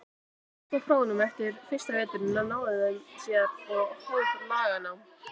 Hann féll á prófum eftir fyrsta veturinn en náði þeim ári síðar og hóf laganám.